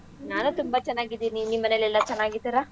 ನಾನೂ ತುಂಬಾ ಚೆನ್ನಾಗಿದ್ದೀನಿ. ನಿಮ್ಮನೆಲೆಲ್ಲಾ ಚೆನ್ನಾಗಿದ್ದರಾ?